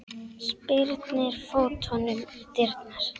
Spyrnir fótunum í dyrnar.